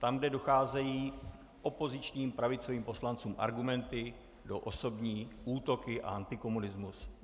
Tam, kde docházejí opozičním pravicovým poslancům argumenty, jdou osobní útoky a antikomunismus.